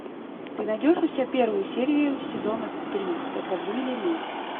ты найдешь у себя первую серию сезона три это были мы